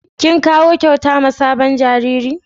Kin kawo kyauta ma sabon jariri?